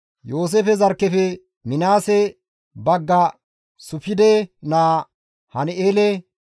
Yooseefe zarkkefe Minaase bagga Sufide naa Han7eele,